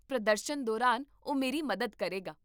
ਪ੍ਰਦਰਸ਼ਨ ਦੌਰਾਨ ਉਹ ਮੇਰੀ ਮਦਦ ਕਰੇਗਾ